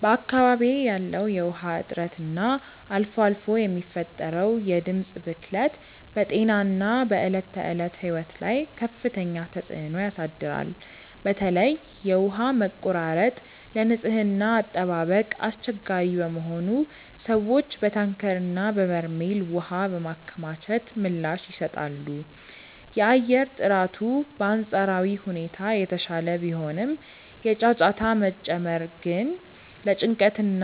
በአካባቢዬ ያለው የውሃ እጥረት እና አልፎ አልፎ የሚፈጠረው የድምፅ ብክለት በጤናና በዕለት ተዕለት ሕይወት ላይ ከፍተኛ ተጽዕኖ ያሳድራል። በተለይ የውሃ መቆራረጥ ለንጽህና አጠባበቅ አስቸጋሪ በመሆኑ ሰዎች በታንከርና በበርሜል ውሃ በማከማቸት ምላሽ ይሰጣሉ። የአየር ጥራቱ በአንጻራዊ ሁኔታ የተሻለ ቢሆንም፣ የጫጫታ መጨመር ግን ለጭንቀትና